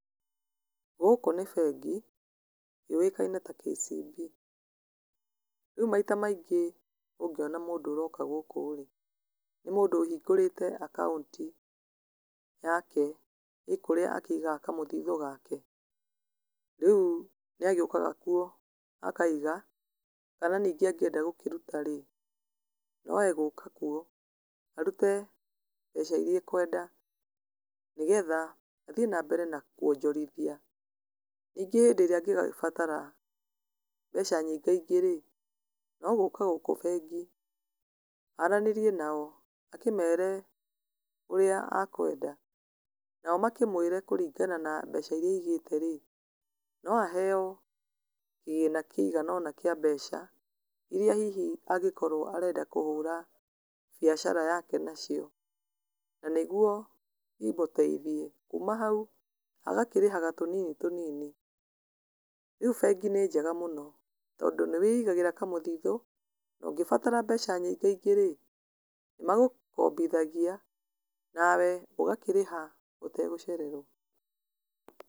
Gũkũ nĩ bengi, yũyĩkaine ta KCB, rĩu maita maingĩ ũngĩona mũndũ ũroka gũkũ rĩ, nĩ mũndũ ũhingũrĩte akaunti yake, ĩkũrĩa akĩigaga kamũthitho gake, rĩu nĩagĩokaga kuo akaiga, kuna ningĩ angĩenda gũkĩruta rĩ, noegũka kuo, arute mbeca iria ekwenda, nĩgetha athiĩ na mbere na kwonjorithia, ningĩ hĩndĩrĩa angĩbatara mbeca nyingaingĩ rĩ, nogũka gũkũ bengi, aranĩrie nao, akĩmere ũrĩa akwenda, nao makĩmwĩre kũringana na mbeca iria aigĩte rĩ, no aheyo kĩgĩna kĩgana ũna kĩa mbeca, iria hihi angĩkorwo arenda kũhũra biacara yake nacio, na nĩguo imũteithie, kuuma hau, agakĩrĩhaga tũnini tũnini, rĩu bengi nĩ njega mũno, tondũ nĩ wĩigagĩra kamũthitho, no ngĩbatara mbeca nyingaingĩ rĩ, nĩ magũkombithagia nawe ũgakĩrĩha ũtegũcererwo.